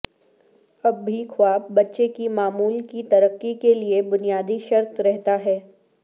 اب بھی خواب بچے کی معمول کی ترقی کے لئے بنیادی شرط رہتا ہے